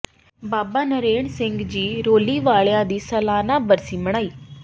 ਬਾਬਾ ਨਰੈਣ ਸਿੰਘ ਜੀ ਰੌਲੀ ਵਾਲਿਆਂ ਦੀ ਸਲਾਨਾ ਬਰਸੀ ਮਨਾਈ